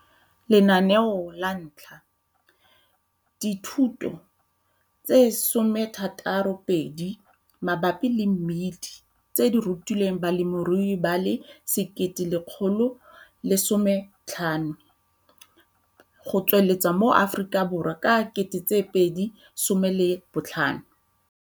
Lenaneo la 1 - Dithutiso tse 62 mabapi le mmidi tse di rutilweng balemirui ba le 1 115 go tswelela mo Afrikaborwa ka 2015.